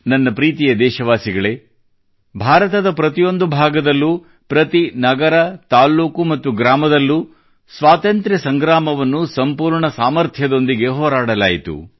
ನನ್ನ ಪ್ರೀತಿಯ ದೇಶವಾಸಿಗಳೇ ಭಾರತದ ಪ್ರತಿಯೊಂದು ಭಾಗದಲ್ಲೂ ಪ್ರತಿ ನಗರ ತಾಲ್ಲೂಕು ಮತ್ತು ಗ್ರಾಮದಲ್ಲೂ ಸ್ವಾತಂತ್ರ್ಯದ ಸಂಗ್ರಾಮವನ್ನು ಸಂಪೂರ್ಣ ಸಾಮರ್ಥ್ಯದೊಂದಿಗೆ ಹೋರಾಡಲಾಯಿತು